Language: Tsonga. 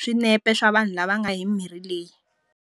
swinepe swa vanhu lava nga hi mirhi leyi.